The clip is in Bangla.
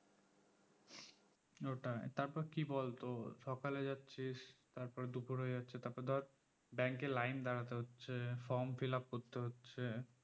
ওটাই তারপর কি বলতো সকালে যাচ্ছিস তারপরে দুপুর হয়ে যাচ্ছে তারপরে ধর bank এ line এ দাঁড়াতে হচ্ছে form fill up করতে হচ্ছে